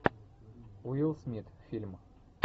уилл смит фильм